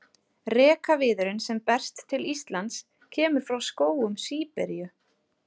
Rekaviðurinn sem berst til Íslands kemur frá skógum Síberíu.